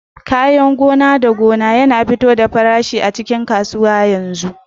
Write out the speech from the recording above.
Farmonar da Farm yana fito da farashin ba da daɗewa a cikin kasuwar a yanzu